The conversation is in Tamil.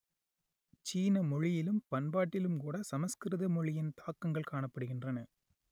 சீன மொழியிலும் பண்பாட்டிலும் கூடச் சமஸ்கிருத மொழியின் தாக்கங்கள் காணப்படுகின்றன